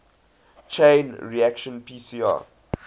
chain reaction pcr